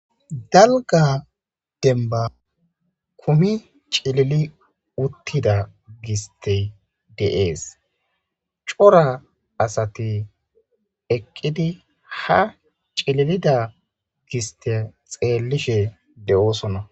dalga demba kumi cilili uttida gisti deees cora asati eqqidi ha cililida gisti xeellishe de7oosona